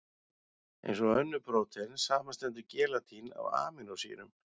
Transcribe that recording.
Eins og önnur prótein, samanstendur gelatín af amínósýrum.